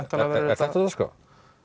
er þetta á dagskrá